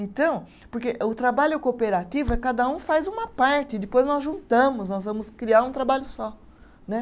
Então, porque o trabalho cooperativo é cada um faz uma parte, depois nós juntamos, nós vamos criar um trabalho só né.